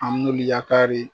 An molu yafa de.